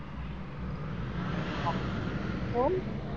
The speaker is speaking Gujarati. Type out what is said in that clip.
હા.